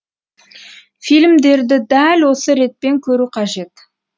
фильмдерді дәл осы ретпен көру қажет